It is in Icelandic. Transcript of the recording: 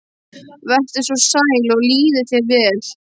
Vertu svo sæl og líði þér vel.